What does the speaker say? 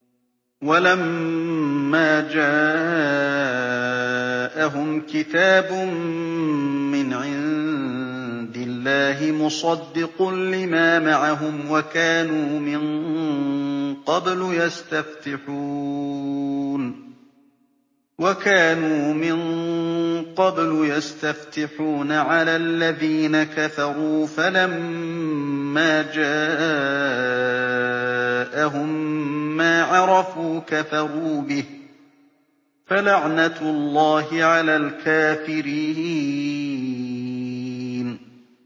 وَلَمَّا جَاءَهُمْ كِتَابٌ مِّنْ عِندِ اللَّهِ مُصَدِّقٌ لِّمَا مَعَهُمْ وَكَانُوا مِن قَبْلُ يَسْتَفْتِحُونَ عَلَى الَّذِينَ كَفَرُوا فَلَمَّا جَاءَهُم مَّا عَرَفُوا كَفَرُوا بِهِ ۚ فَلَعْنَةُ اللَّهِ عَلَى الْكَافِرِينَ